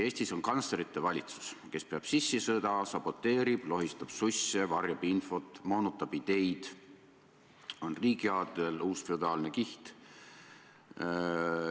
Eestis on kantslerite valitsus, kes peab sissisõda, saboteerib, lohistab susse, varjab infot, moonutab ideid, on riigiaadel, uus feodaalne kiht.